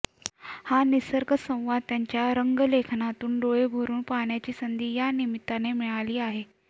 हा निसर्गसंवाद त्यांच्या रंगलेखनातून डोळेभरून पाहण्याची संधी या निमित्ताने मिळाली आहे